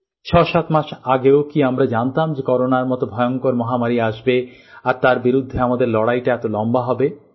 ৬৭ মাস আগেও কি আমরা জানতাম যে করোনার মত ভয়ংকর মহামারী আসবে আর তার বিরুদ্ধে আমাদের লড়াইটা এত লম্বা হবে